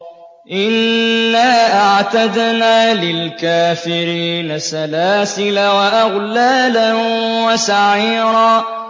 إِنَّا أَعْتَدْنَا لِلْكَافِرِينَ سَلَاسِلَ وَأَغْلَالًا وَسَعِيرًا